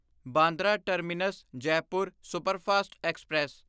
Bandra terminus Jaipur superfast express